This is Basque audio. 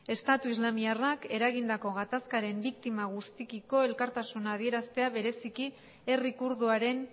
estatu islamiarrak eragindako gatazkaren biktima guztiekiko elkartasuna adieraztea bereziki herri kurduaren